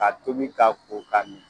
Ka tobi k'a ko k'a min.